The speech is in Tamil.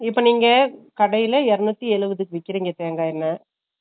இப்ப நீங்க கடைல இரணுத்தி எழுபதுக்கு விக்கிரிங்க உங்க அவங்க